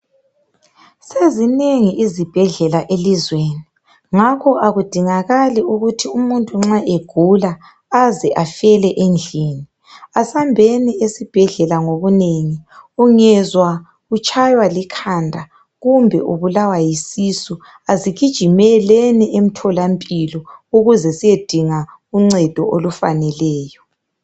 Sezinengi izibhedlela elizweni. Ngakho kakudingakali ukuthi umuntu nxa egula aze afele endlini. Asambeni esibhedlela ngobunengi. Ungezwa utshaywa likhanda, kumbe ubulawa yisisu, kasigijimeleni emtholampilo, ukuze siyedinga uncedo olufaneleyo.